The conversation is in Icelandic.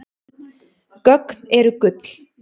Gögn eru gull